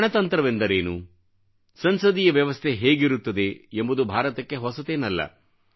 ಗಣತಂತ್ರವೆಂದರೇನು ಸಂಸದೀಯ ವ್ಯವಸ್ಥೆ ಹೇಗಿರುತ್ತದೆ ಎಂಬುದು ಭಾರತಕ್ಕೆ ಹೆÇಸತೇನಲ್ಲ